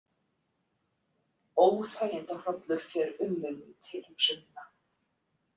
Óþægindahrollur fer um mig við tilhugsunina.